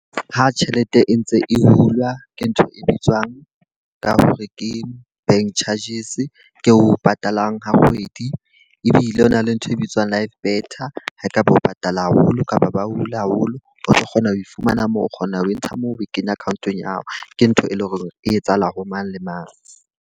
Ha tjhelete e ntse e hulwa, ke ntho e bitswang ka hore ke bank charges. Ke o patalang ha kgwedi ebile o na le ntho e bitswang live better. Ha e ka ba o patala haholo kapa ba hula haholo, o tlo kgona ho fumana moo o kgona ho entsha moo, o kenya account-ong ya hao. Ke ntho e leng hore e etsahala ho mang le mang.